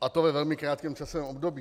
a to ve velmi krátkém časovém období.